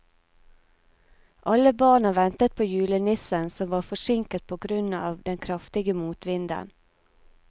Alle barna ventet på julenissen, som var forsinket på grunn av den kraftige motvinden.